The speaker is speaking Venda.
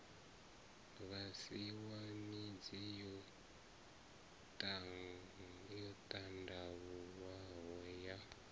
vhasiwa midzi yo ṱandavhuwaho ya